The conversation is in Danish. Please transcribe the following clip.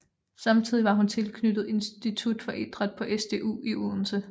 Samtidigt var hun tilknyttet Institut for Idræt på SDU i Odense